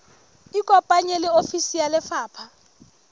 ikopanye le ofisi ya lefapha